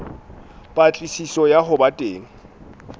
patlisiso ya ho ba teng